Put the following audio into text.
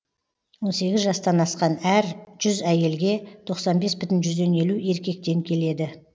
он сегіз жастан асқан әр жүз әйелге тоқсан бес бүтін жүзден елу еркектен келеді